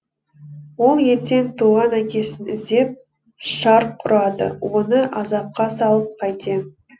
ол ертең туған әкесін іздеп шарқ ұрады оны азапқа салып қайтем